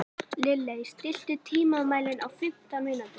Lilley, stilltu tímamælinn á fimmtán mínútur.